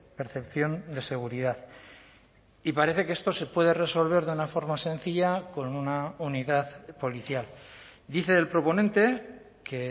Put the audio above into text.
percepción de seguridad y parece que esto se puede resolver de una forma sencilla con una unidad policial dice el proponente que